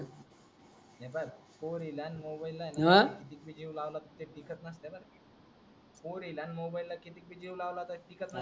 हे पाय पोरीला न मोबाईलला आहे न ह किती जीव हि लावला तु कितीक ही जीव लावला तरी टिकत नसते बर.